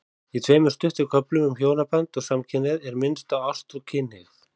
Í tveimur stuttum köflum um hjónaband og samkynhneigð er minnst á ást og kynhneigð.